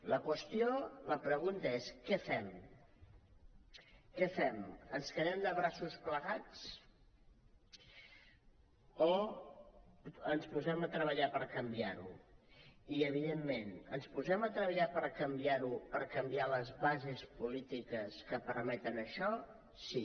la pregunta és què fem què fem ens quedem de braços plegats o ens posem a treballar per canviar ho i evidentment ens posem a treballar per canviar ho per canviar les bases polítiques que permeten això sí